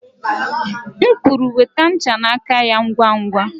M kwuru, nweta ncha n'aka ya ngwa ngwa!